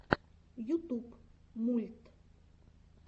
ютуб мульт